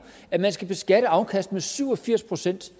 at man skal beskatte afkastet med syv og firs procent